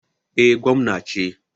Eh, gwamna ce.